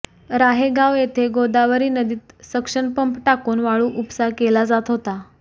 राहेगाव येथे गोदावरी नदीत suction pump टाकून वाळू उपसा केला जात होता